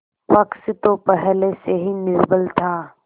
पक्ष तो पहले से ही निर्बल था